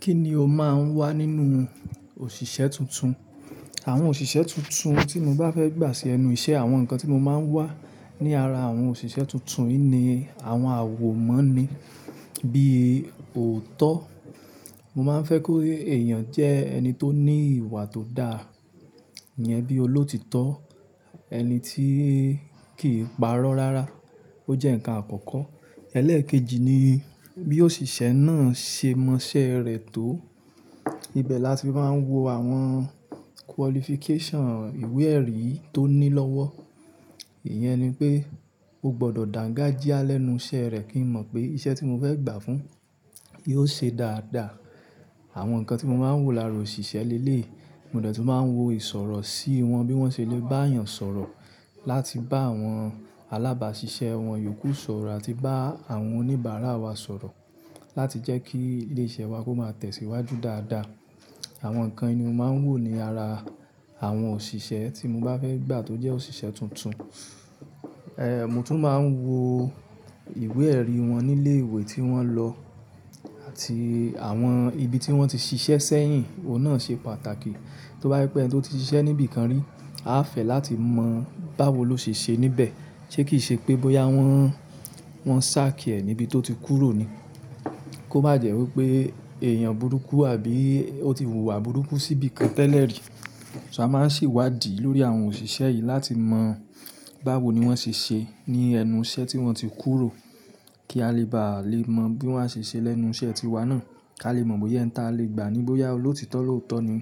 Kí ni o máa ń wá nínú òṣìṣẹ́ tuntun? Àwọn òṣìṣẹ́ tuntun tí mo bá fẹ́ gbà sí ẹnu iṣẹ́, àwọn nǹkan tí mo máa ń wá ní ara àwọn òṣìṣẹ́ tuntun yii nìí, àwọn àwòmọ ni bí i ọ̀tọ́. Mo máa ń fẹ́ kó èèyàn jẹ́ ẹni tó ní ìwà tó dà níyẹn bí i olóòtítọ́, ẹni tí kì í pa rọ́ rárá. Ó jẹ́ nǹkan àkọ́kọ́. Ẹlẹ́ẹ̀kejì ni bí òṣìṣẹ́ náà ṣe mọ iṣẹ́ rẹ̀ tó. Ibẹ̀ la ti máa ń wo àwọn qualification, ìwé-ẹ̀rí tó ní lọ́wọ́. Ìyẹn ni pé ó gbọdọ̀ dàǹgájíá lẹ́nu iṣẹ́ rẹ̀ kí n mọ̀ pé iṣẹ́ tí mo fẹ́ gbà fún yóò ṣe dáadáa. Àwọn nǹkan tí mo máa ń wò lára òṣìṣẹ́ leleyii, mo de tun máa ń wo ìsọ̀rọ̀ sí wọn, bí wọ́n ṣe lè bá èèyàn sọ̀rọ̀, láti bá àwọn alábàáṣiṣẹ́ wọn yòókù sọ̀rọ̀ àti bá àwọn oníbàárà wa sọ̀rọ̀, láti jẹ́ kí ilé iṣẹ́ wa kó máa tẹ̀síwájú dáadáa. Àwọn nǹkan yii ni mo máa ń wò ní ara àwọn òṣìṣẹ́ tí mo bá fẹ́ gbà tó jẹ́ òṣìṣẹ́ tuntun. Mo tún máa ń wo ìwé-ẹ̀rí wọn nílé ìwé tí wọ́n lọ àti àwọn ibi tí wọ́n ti ṣiṣẹ́ sẹ́yìn. Ohun náà ṣe pàtàkì. Tí ó bá pé ẹni tó ti ṣiṣẹ́ níbi kan rí, a fẹ́ láti mọ báwo ló ṣe ṣe níbẹ̀. Ṣé kì í ṣe pé bóyá wọ́n, wọ́n sack ẹ́ níbi tó ti kúrò ni? Kó má jẹ́ wí pé èèyàn burúkú àbí ó ti hùwà burúkú síbi kan tẹ́lẹ̀ rí. So a máa sì wádìí lórí àwọn òṣìṣẹ́ yìí láti mọ báwo ni wọ́n ṣe ṣe ní ẹnu iṣẹ́ tí wọ́n ti kúrò kí a lè bá lè mọ bí wọ́n a ṣe ṣe lẹ́nu iṣẹ́ tiwa náà, kí a lè mọ̀ bóyá ẹn ta lè gbàá ní bóyá olóòtítọ́ lóòtọ́ ni.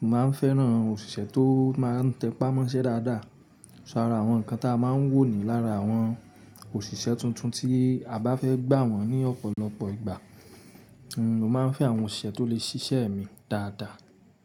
Mo máa ń fẹ́ràn òṣìṣẹ́ tó máa ń tẹpá mọ́ iṣẹ́ dáadáa. Ara àwọn nǹkan tí a máa ń wò ní lára àwọn òṣìṣẹ́ tuntun tí a bá fẹ́ gbà wọ́n ní ọ̀pọ̀lọpọ̀ ìgbà. Máa ń fẹ́ àwọn òṣìṣẹ́ tó lè ṣiṣẹ́ mi dáadáa.